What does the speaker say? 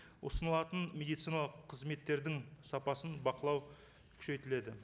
ұсынылатын медициналық қызметтердің сапасын бақылау күшейтіледі